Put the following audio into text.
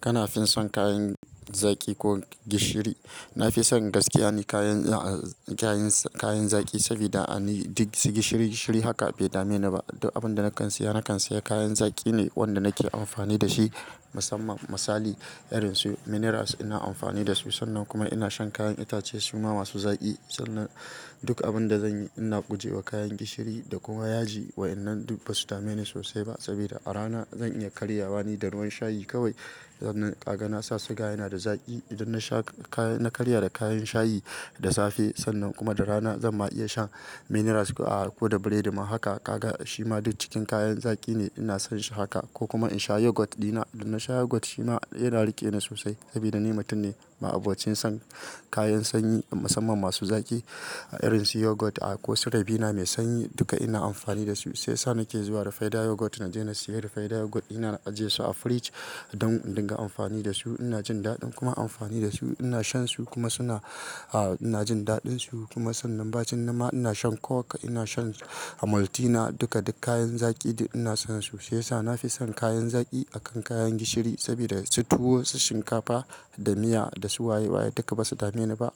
Kana fin son kayan zaƙi ko gishiri? Na fi son gaskiya ni kayan zaƙi sabida a ni duk gishiri-gishiri haka bai dame ni ba. Duk abin da na kan siya, na kan siya kayan zaƙi ne wanda nake amfani da shi. Musamman misali irin su minerals ina amfani da su sannan kuma ina shan kayan itace su ma masu zaƙi. Sannan duk abin da zanyi ina guje wa kayan gishiri da kuma yaji wa'inan duk ba su dame ni sosai ba sabida a rana zan iya karyawa da ruwan shayi kawai. Sannan ka ga nasa sugar yana da zaƙi. Idan nasha na karya da kayan shayi da safe sannan kuma da rana zan ma iya sha minerals ko da bread ma haka ka ga shima duk cikin kayan zaƙi ne. Ina son shi haka ko kuma in sha yogurt dina. Idan na sha yogurt shi ma yana riƙe ni sosai sabida ni mutum ne ma'abocin son kayan sanyi musamman masu zaƙi irin su yogurt, a, ko su rabina mai sanyi duka ina amfani da su. Sai sa nake zuwa da rufaida yogurt naje na siya rufaida yogurt. Ina ajiye su a fridge don in dinga amfani da su. Ina jin daɗin kuma amfani da su. Ina shan su kuma suna, a, ina jin daɗin su kuma sannan bacin nan ma ina shan coke ina shan maltina duka duk kayan zaƙi ina son su. Sai sa nafi son kayan zaƙi akan kayan gishiri sabida su tuwo, su shinkafa, da miya da su waye waye duka basa dame ni ba.